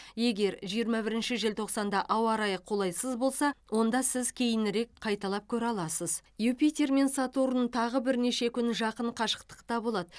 егер жиырма бірінші желтоқсанда ауа райы қолайсыз болса онда сіз кейінірек қайталап көре аласыз юпитер мен сатурн тағы бірнеше күн жақын қашықтықта болады